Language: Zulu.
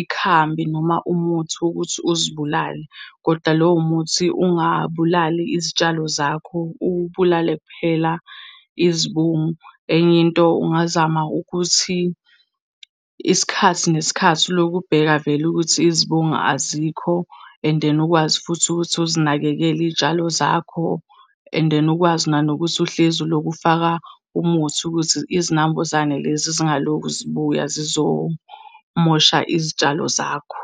ikhambi noma umuthi wokuthi uzibulale, koda lowo muthi ungabulali izitshalo zakho ubulale kuphela izibungu. Enye into, ungazama ukuthi isikhathi nesikhathi ulokhu ubheka vele ukuthi izibungu azikho, and then ukwazi futhi ukuthi uzinakekele izitshalo zakho. And then, ukwazi nanokuthi uhlezi ulokhu ufaka umuthi ukuthi izinambuzane lezi zingalokhu zibuya zizomosha izitshalo zakho.